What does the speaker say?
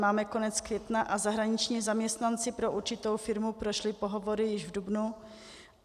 Máme konec května a zahraniční zaměstnanci pro určitou firmu prošli pohovory již v dubnu.